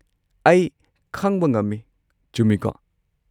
ꯑꯩ ꯈꯪꯕ ꯉꯝꯃꯤ, ꯆꯨꯝꯃꯤꯀꯣ?